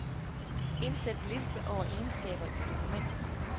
Indsæt liste over egenskaber i dokumentet.